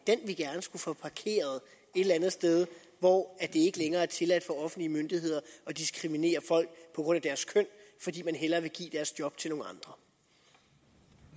eller andet sted hvor det ikke længere er tilladt for offentlige myndigheder at diskriminere folk på grund af deres køn fordi man hellere vil give deres job til